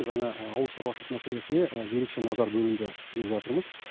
жаңа ауыл шаруашылық мәселесіне ерекше назар бөлінді деп жатырмыз